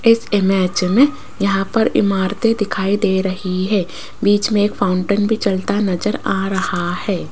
इस इमेज मे यहां पर इमारतें दिखाई दे रही है बीच में एक फाउंटन भी चलता नजर आ रहा है।